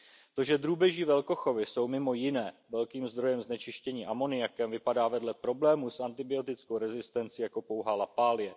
To, že drůbeží velkochovy jsou mimo jiné velkým zdrojem znečištění amoniakem, vypadá vedle problému s antibiotickou rezistencí jako pouhá lapálie.